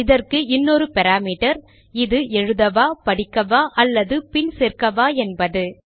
இதற்கு இன்னொரு பாராமீட்டர் இது எழுதவா படிக்கவா அல்லது பின் சேர்க்கவா என்பது